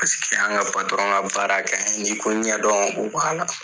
Paseke an ka ka baara kɛɲi, n'i ko ɲɛdɔn, o b'a la.